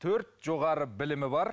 төрт жоғары білімі бар